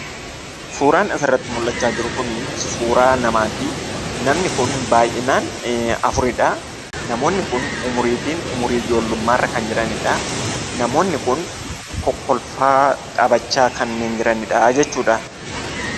Suuraan asirratti mul'achaa jiru kunii suuraa namaati, namni kun baayyinaan afuridhaa, namoonni kun umuriitiin umurii ijoollummaarra kan jiranidhaa, namoonni kun kokkolfaa taphachaa kanneen jiranidhaa jechuudha.